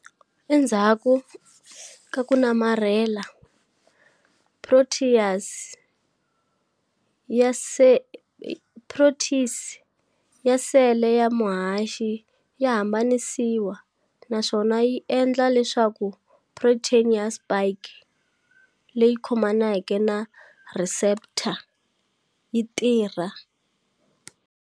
Endzhaku ka ku namarhela, protease ya sele ya muhaxi ya hambanisiwa naswona yi endla leswaku protein ya spike leyi khomaneke na receptor yi tirha.